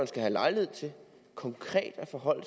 skal have lejlighed til konkret at forholde